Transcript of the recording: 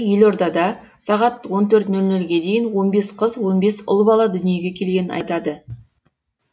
елордада сағат он төрт нөл нөлге дейін он бес қыз он бес ұл бала дүниеге келгенін айтады